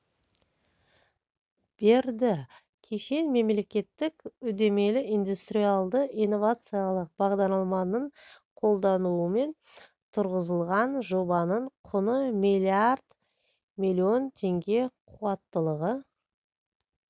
берді кешен мемлекеттік үдемелі индустриялды инновациялық бағдарламаның қолдауымен тұрғызылған жобаның құны миллиард миллион теңге қуаттылығы